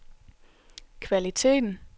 kvaliteten